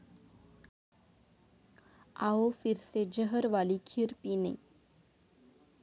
आवो फिरसे जहर वाली खीर पीने'